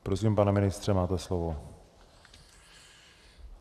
Prosím, pane ministře, máte slovo.